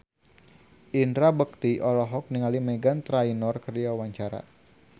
Indra Bekti olohok ningali Meghan Trainor keur diwawancara